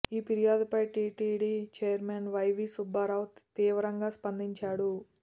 ఈ ఫిర్యాదుపై TTD chairman YV Subbareddy తీవ్రంగా స్పందించాడు